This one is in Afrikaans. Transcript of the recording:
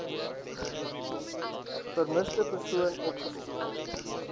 vermiste persoon opgespoor